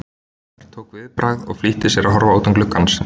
Örn tók viðbragð og flýtti sér að horfa út um glugg- ann.